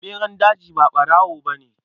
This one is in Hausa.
Ɓeran daji ba ɓarawo ne.